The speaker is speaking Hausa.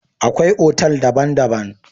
Akwai otal daban-daban.